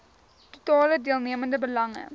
totale deelnemende belange